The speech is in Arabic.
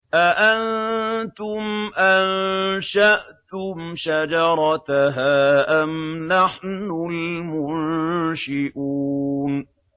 أَأَنتُمْ أَنشَأْتُمْ شَجَرَتَهَا أَمْ نَحْنُ الْمُنشِئُونَ